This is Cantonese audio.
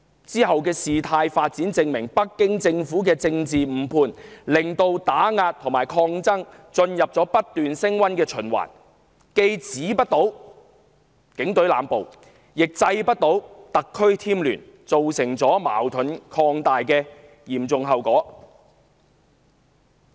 往後的事態發展證明，北京政府的政治誤判令打壓和抗爭進入不斷升溫的循環，既止不了警隊濫捕，亦制不了特區添亂，造成矛盾擴大的嚴重後果。